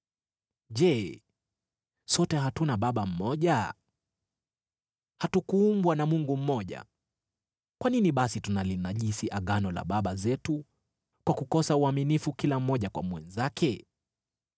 Je, sote hatuna Baba mmoja? Hatukuumbwa na Mungu mmoja? Kwa nini basi tunalinajisi Agano la baba zetu kwa kukosa uaminifu kila mmoja kwa mwenzake?